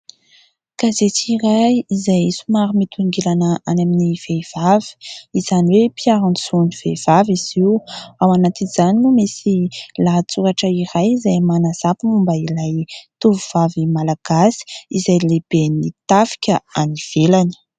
Gazety iray izay somary mitongilana any amin'ny vehivavy, izany hoe mpiaro ny zon'ny vehivavy izy io. Ao anatin'izany no misy lahatsoratra iray izay manazava momba ilay tovovavy malagasy izay lehiben'ny tafika any ivelany.